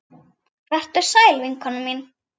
Vertu sæl vinkona mín.